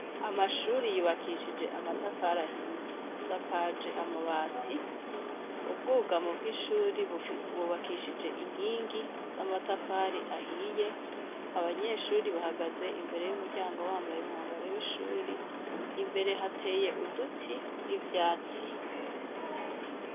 Amashure yubakishije amatafari ahiye ,asakaje amabati, ubwugamo bw'ishure bwubakishije inkingi z'amatafari ahiye, abanyeshure bahagaze imbere y'umuryango bambaye umwambaro w'ishuri, imbere hateye uduti n'ivyatsi.